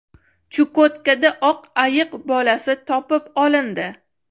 Chukotkada oq ayiq bolasi topib olindi.